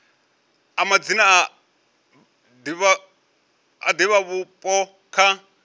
a madzina a divhavhupo kha